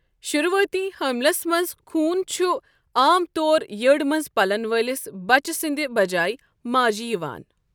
شُروٗعٲتی حملس منٛز خوٗن چُھ عام طور یٔڈ منٛز پَلن وٲلِس بچہِ سٕنٛدِ بجاے ماجی یِوان۔